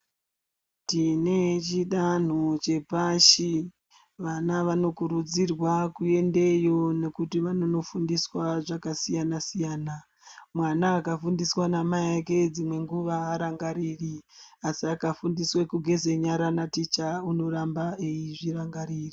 Tine chidanho chepashi vana vanokurudzirwa kuendeyo nekuti vanofundiswa zvekasiyana-siyana. Mwana akafundiswa namai vake dzimwenguva harangariri asi akafundiswa kugeza nyara naticha unoramba eizvirangarira.